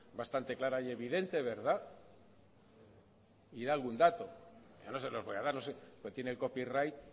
bastante clara y evidente verdad y da algún dato yo no se lo voy a dar tiene el copyright